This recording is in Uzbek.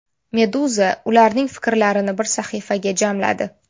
Meduza ularning fikrlarini bir sahifaga jamladi.